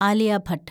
Alia Bhat